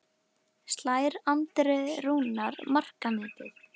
Slær Andri Rúnar markametið?